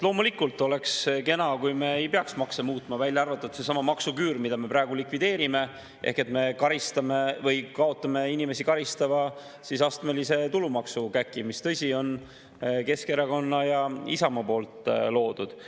Loomulikult oleks kena, kui me ei peaks makse muutma, välja arvatud seesama maksuküür, mida me praegu likvideerime, ehk me kaotame inimesi karistava astmelise tulumaksukäki, mis, tõsi, on Keskerakonna ja Isamaa loodud.